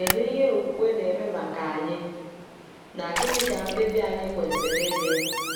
Kedu ihe okwukwe na-eme maka anyị, na gịnị ka mkpebi anyị kwesịrị ịdị?